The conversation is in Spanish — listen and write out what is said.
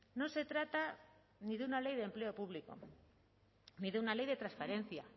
no se trata ni de una ley de empleo público ni de una ley de transparencia